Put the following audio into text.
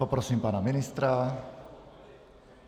Poprosím pana ministra.